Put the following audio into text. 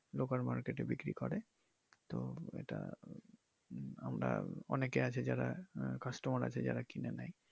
local market এ বিক্রি করে তো এটা আমরা অনেকে আছে যারা আহ customer আছে যারা কিনে নেয়।